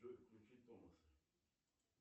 джой включи томаса